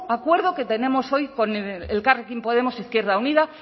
acuerdo que tenemos hoy con elkarrekin podemos izquierda unida